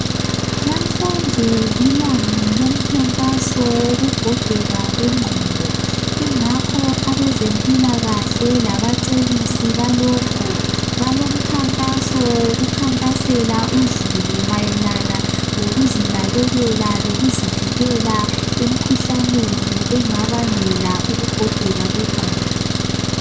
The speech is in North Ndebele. Namhlanje lilanga lomkhankaso wokugogeka kwengqondo. Ingakho abezempilakahle labacebisi balokho balomkhankaso wokukhankasela uzulu mayelana lokuzinakekela lokuzivikela emkhuhlaneni engabangela ukugogeka kwengqondo.